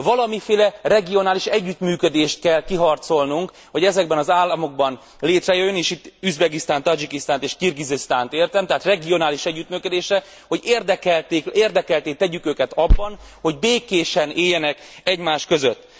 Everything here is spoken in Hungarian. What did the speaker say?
Valamiféle regionális együttműködést kell kiharcolnunk, hogy ezekben az államokban létrejöjjön és itt Üzbegisztánt, Tadzsikisztánt és Kirgizisztánt értem tehát regionális együttműködésre, hogy érdekeltté tegyük őket abban, hogy békésen éljenek egymás között.